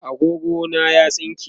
agogo na ya tsinke